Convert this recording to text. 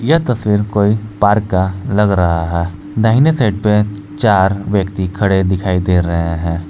यह तस्वीर कोई पार्क का लग रहा है दाहिने साइड पे चार व्यक्ति खड़े दिखाई दे रहे हैं।